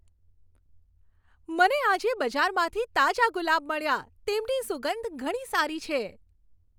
મને આજે બજારમાંથી તાજા ગુલાબ મળ્યા. તેમની સુગંધ ઘણી સારી છે.